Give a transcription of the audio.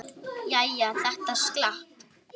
Jæja, þetta slapp.